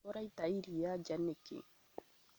ũraĩta iria nja nĩkĩ ?